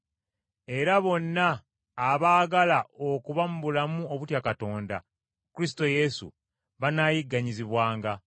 Era bonna abaagala okuba mu bulamu obutya Katonda mu Kristo Yesu, banaayigganyizibwanga.